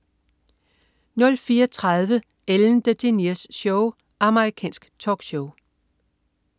04.30 Ellen DeGeneres Show. Amerikansk talkshow